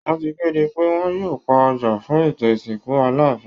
Wọ́n ti kéde pé wọ́n yóò pa ọjà fún ètò ìsìnkù Aláàfin